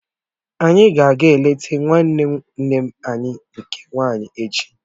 Anyi a ga eleta nwanne nne anyị nke nwaanyị echi?